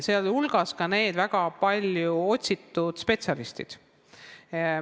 See puudutab ka neid väga otsitud spetsialiste.